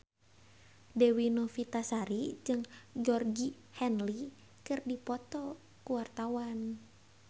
Dewi Novitasari jeung Georgie Henley keur dipoto ku wartawan